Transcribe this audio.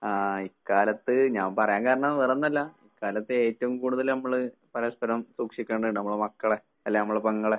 ആഹ് ഇക്കാലത്ത് ഞാൻ പറയാൻ കാരണം വേറൊന്നല്ല, ഇക്കാലത്ത് ഏറ്റവും കൂടുതല് നമ്മള് പരസ്പരം സൂക്ഷിക്കേണ്ടതാണ് നമ്മുടെ മക്കളെ. അല്ലേ നമ്മടെ പെങ്ങളെ